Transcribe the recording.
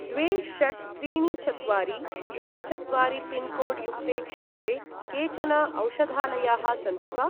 द्वे षट् त्रीणि चत्वारि द्वे चत्वारि पिन्कोड् युक्ते क्षेत्रे केचन औषधालयाः सन्ति वा?